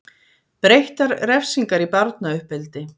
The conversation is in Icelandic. Breyttar refsingar í barnauppeldi